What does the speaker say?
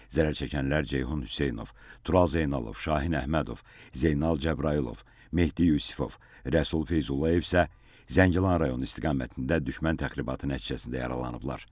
Zərərçəkənlər Ceyhun Hüseynov, Tural Zeynalov, Şahin Əhmədov, Zeynal Cəbrayılov, Mehdi Yusifov, Rəsul Feyzullayev isə Zəngilan rayonu istiqamətində düşmən təxribatı nəticəsində yaralanıblar.